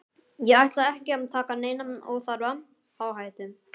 Ég ætla ekki að taka neina óþarfa áhættu,